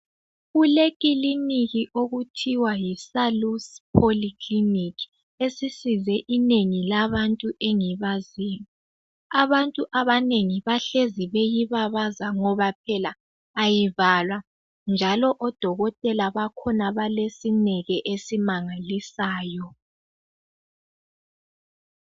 Kule kiliniki okuthiwa yiSalus Polyclinic esisize inengi labantu engibaziyo. Abantu abanengi bahlezi beyibabaza ngoba phela ayivalwa njalo odokotela bakhona balesineke esimangalisayo.